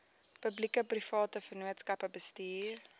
publiekeprivate vennootskappe bestuur